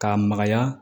K'a magaya